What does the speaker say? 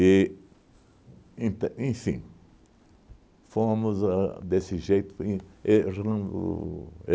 E, ent enfim, fomos a desse jeito e